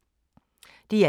DR1